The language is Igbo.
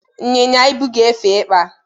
ịnyịnya ibu ga-efe ịkpa.